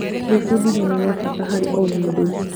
Gwĩbundithia nĩ gwa bata harĩ o mũndũ.